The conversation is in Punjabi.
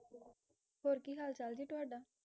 ਹੋਰ ਕੀ ਹਾਲ ਚਾਲ ਜੀ ਤੁਹਾਡਾ?